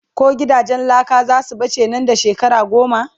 ko gidajen laka zasu bace Nan da. shekara goma?